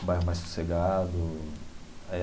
Um bairro mais sossegado é.